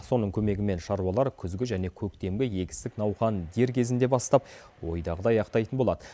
соның көмегімен шаруалар күзгі және көктемгі егістік науқанын дер кезінде бастап ойдағыдай аяқтайтын болады